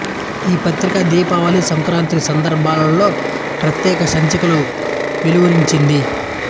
ఈ పత్రిక దీపావళి సంక్రాతి సందర్భాలలో ప్రత్యేక సంచికలు వెలువరించింది